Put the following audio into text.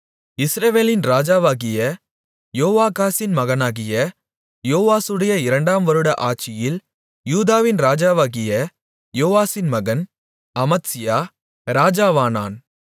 இஸ்ரவேலின் ராஜாவாகிய யோவாகாசின் மகனாகிய யோவாசுடைய இரண்டாம் வருட ஆட்சியில் யூதாவின் ராஜாவாகிய யோவாசின் மகன் அமத்சியா ராஜாவானான்